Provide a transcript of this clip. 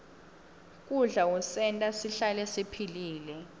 kudla kusenta sihlale siphilile